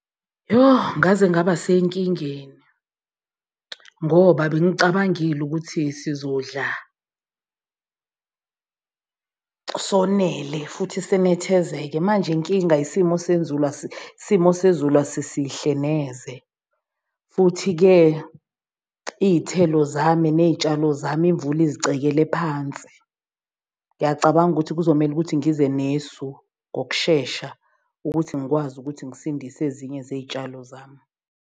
Yoh ngaze ngaba senkingeni ngoba bengicabangile ukuthi sizodla sonele futhi sinethezeke manje inkinga isimo sezulu isimo sezulu asisihle neze. Futhi-ke iy'thelo zami ney'tshalo zami imvula izicekele phansi. Ngiyacabanga ukuthi kuzomele ukuthi ngize nesu ngokushesha ukuthi ngikwazi ukuthi ngisindise ezinye zey'tshalo zami.